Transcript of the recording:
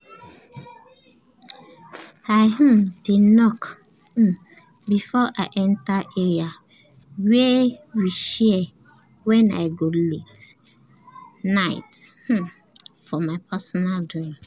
i um dey knock um before i enter area wey we share wen i go late-night um for my personal doings